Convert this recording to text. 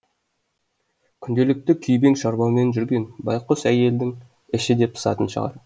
күнделікті күйбең шаруамен жүрген байқұс әйелдің іші де пысатын шығар